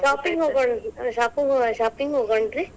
Shopping ಹೋಗೋಣ್, shopping, shopping ಹೋಗೋಣ್ ರೀ?